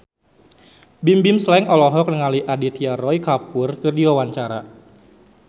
Bimbim Slank olohok ningali Aditya Roy Kapoor keur diwawancara